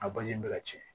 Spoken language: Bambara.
A bɛ ka ci